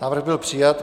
Návrh byl přijat.